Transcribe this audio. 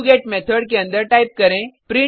do get method के अंदर type करें